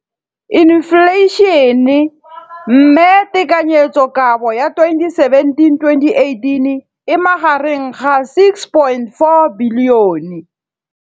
Infleišene, mme tekanyetsokabo ya 2017, 18, e magareng ga R6.4 bilione.